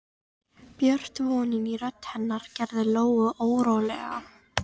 Björt vonin í rödd hennar gerði Lóu órólega.